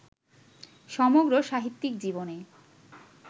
সমগ্র সাহিত্যিক জীবনে